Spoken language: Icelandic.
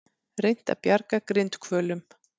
Reynt að bjarga grindhvölum